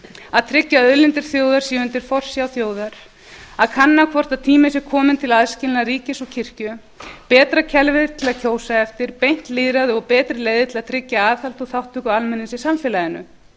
að tryggja að auðlindir þjóðar séu undir forsjá þjóðar að kanna hvort tími sé komin til aðskilnaðar ríkis og kirkju betra kerfi til að kjósa eftir beint lýðræði og betri leiðir til að tryggja aðhald og þátttöku almennings í samfélaginu